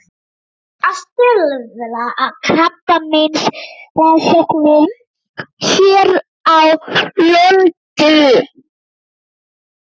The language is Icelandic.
Að stuðla að krabbameinsrannsóknum hér á landi.